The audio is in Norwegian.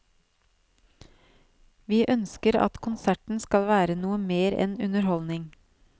Vi ønsker at konserten skal være noe mer enn underholdning.